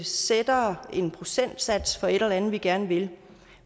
sætter en procentsats for et eller andet vi gerne vil